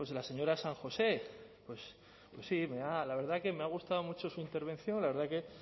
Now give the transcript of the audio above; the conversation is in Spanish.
la señora san josé pues sí me ha la verdad que me ha gustado mucho su intervención la verdad que